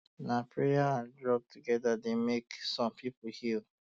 na prayer and drug together dey make um some people heal